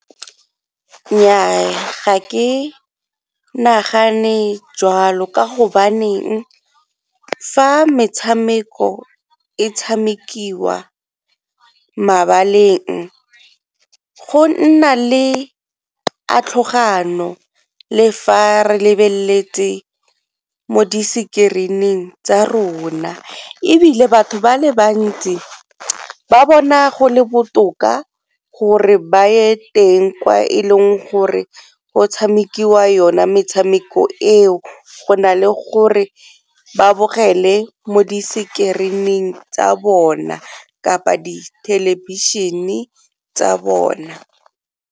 Nnyaa, ga ke nagane jwalo ka go baneng fa metshameko e tshamekiwa mabaleng go nna le le fa re lebeletse mo di screen-eng tsa rona, ebile batho ba le bantsi ba bona go le botoka gore ba ye teng kwa e leng gore go tshamekiwa yona metshameko eo. Go na le gore ba bogele mo disekerining tsa bona kapa di thelebišene tsa bona.